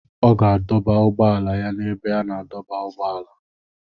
Ọ ga-adọba ụgbọala ya na ebe a na-adọba ụgbọala